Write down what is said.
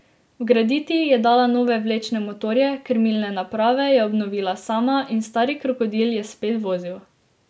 Vgraditi je dala nove vlečne motorje, krmilne naprave je obnovila sama in stari krokodil je spet vozil.